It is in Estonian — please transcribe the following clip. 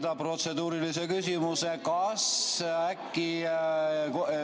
Ma siiski sooviksin esitada protseduurilise küsimuse.